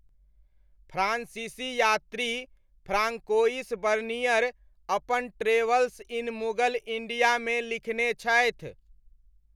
फ्रान्सीसी यात्री Francois Bernier अपन travels in Mughal इंडियामे लिखने छथि।